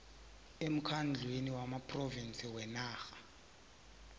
emkhandlwini wamaphrovinsi wenarha